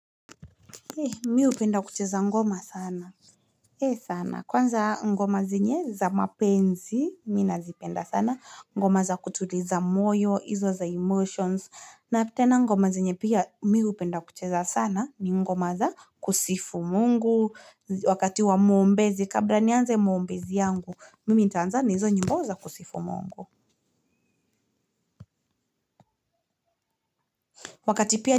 Mi hupenda kucheza ngoma sana e sana kwanza ngoma zenye za mapenzi nina zipenda sana ngoma za kutuliza moyo hizo za emotions na tena ngoma zenye pia mi hupenda kucheza sana ni ngoma za kusifu Mungu wakati wa muombezi kabla nianze muombezi yangu mimi nitanzani hizo nyimbo za kusifu Mungu wakati pia.